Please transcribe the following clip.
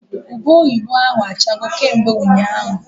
Ube oyibo ahụ achago kemgbe ụnyaahụ